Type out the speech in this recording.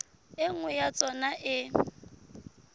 e nngwe ya tsona e